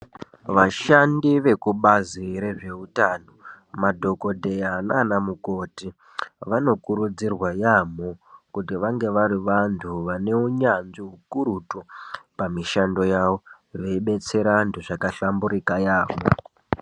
Vashandi vekubazi rezveutano, madhokodheya nana mikoti vanokurudzirwa yaamho kuti vange vari vantu vane unyanzvi hukurutu pamishando yavo, veibetsera vantu zvakahlamburuka yaamho.